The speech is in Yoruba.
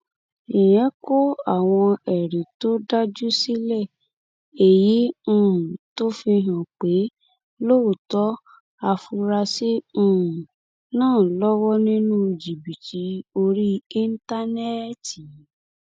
ìyẹn kọ àwọn ẹrí tó dájú sílẹ èyí um tó fi hàn pé lóòótọ afurasí um náà lọwọ nínú jìbìtì orí íńtánẹẹtì